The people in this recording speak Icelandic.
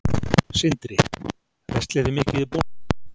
Sindri: Verslið þið mikið í Bónus?